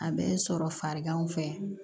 A bɛ sɔrɔ fariganw fɛ